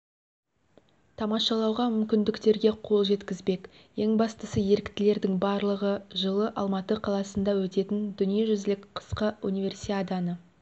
тамашалауға мүмкіндіктерге қол жеткізбек ең бастысы еріктілердің барлығы жылы алматы қаласында өтетін дүниежүзілік қысқы универсиаданы